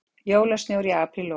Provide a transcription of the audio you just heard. Jólasnjór í apríllok